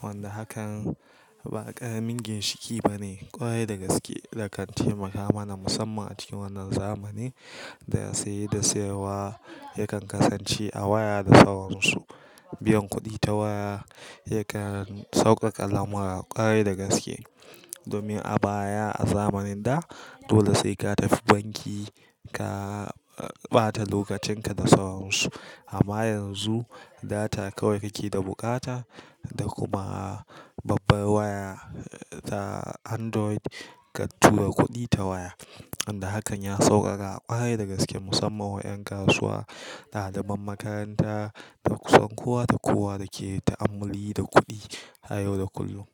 Wanda hakan, ba ƙaramin ginshiƙi bane, ƙwarai da gaske, da kan taimaka mana musamman a cikin wannan zamani, da saye da sayarwa yakan kasance a waya da sauransu. Biyan kuɗi ta waya yakan sauƙaƙa lamura ƙwarai da gaske. Domin a baya, a zamanin da dole sai ka tafi banki ka ɓata lokacin ka da sauransu. Amma yanzu data kawai kake da buƙata, da kuma babbar waya ta Android, ka tura kuɗi ta waya. Wanda hakan ya sauƙaƙa ƙwarai da gaske musamman wa ƴan kasuwa, ɗaliban makaranta da kusan kowa da kowa da ke ta'ammali da kuɗi, a yau da kullum.